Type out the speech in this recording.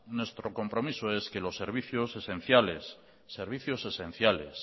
nuestro compromiso es que los servicios esenciales